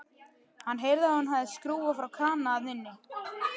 Hann heyrði að hún hafði skrúfað frá krana þar inni.